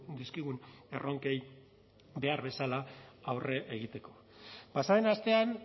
dizkigun erronkei behar bezala aurre egiteko pasa den astean